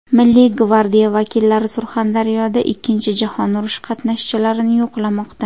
Milliy gvardiya vakillari Surxondaryoda Ikkinchi jahon urushi qatnashchilarini yo‘qlamoqda.